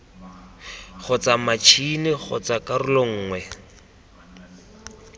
kgotsa matšhini kgotsa karolo nngwe